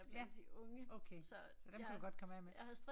Ja okay. Så dem kan du godt komme af med